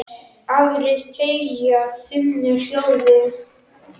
Aðrir þegja þunnu hljóði.